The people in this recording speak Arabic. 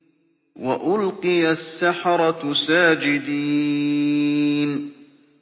وَأُلْقِيَ السَّحَرَةُ سَاجِدِينَ